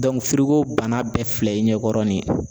bana bɛɛ filɛ i ɲɛkɔrɔ nin ye